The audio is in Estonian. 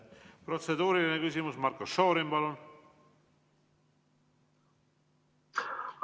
Protseduuriline küsimus, Marko Šorin, palun!